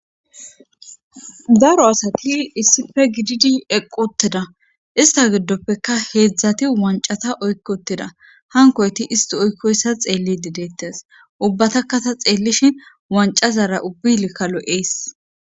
Daro asati issife gididi eqqoteda ista giddoppeka heedzdzati wancata oykkotida hankoyti isti oykkoyssa xeelli dideettes ubbataka ta xeellishi wancazara ubbilkka lo'ys